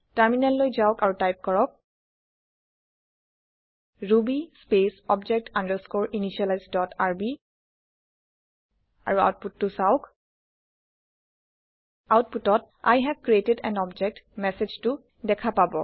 টাৰমিনেললৈ যাওক আৰু টাইপ কৰক ruby space object underscore initialise dot r b আৰু আওতপুতটো চাওঁক আওতপুটত I have created an object মেচেজটো দেখা পাব